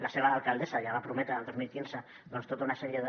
la seva alcaldessa ja va prometre el dos mil quinze tota una sèrie de